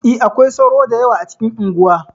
E, akwai sauro da yawa a cikin unguwa.